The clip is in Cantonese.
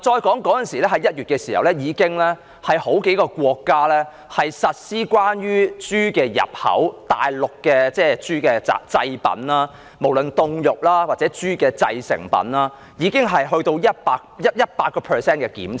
再說，在1月時已有數個國家對於大陸豬的製品，無論是凍肉或其他豬製成品的入口，實施 100% 檢查。